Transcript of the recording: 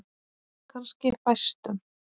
Kannski fæstum.